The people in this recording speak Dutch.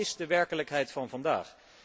Dat is de werkelijkheid van vandaag.